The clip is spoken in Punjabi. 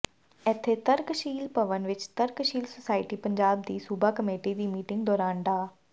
ਇੱਥੇ ਤਰਕਸ਼ੀਲ ਭਵਨ ਵਿੱਚ ਤਰਕਸ਼ੀਲ ਸੁਸਾਇਟੀ ਪੰਜਾਬ ਦੀ ਸੂਬਾ ਕਮੇਟੀ ਦੀ ਮੀਟਿੰਗ ਦੌਰਾਨ ਡਾ